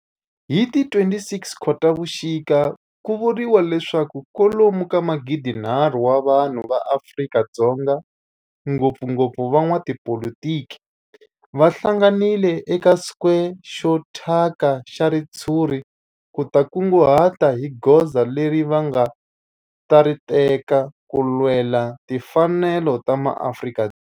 Hi ti 26 Khotavuxika ku vuriwa leswaku kwalomu ka magidinharhu wa vanhu va Afrika-Dzonga, ngopfungopfu van'watipolitiki va hlanganile eka square xo thyaka xa ritshuri ku ta kunguhata hi goza leri va nga ta ri teka ku lwela timfanelo ta maAfrika-Dzonga.